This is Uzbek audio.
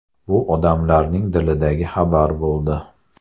Bu odamlarning dilidagi xabar bo‘ldi.